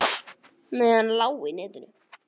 Nei, hann lá í netinu.